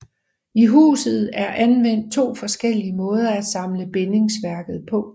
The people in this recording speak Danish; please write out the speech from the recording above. I huset er anvendt to forskellige måder at samle bindingsværket på